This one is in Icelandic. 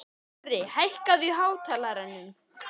Dorri, hækkaðu í hátalaranum.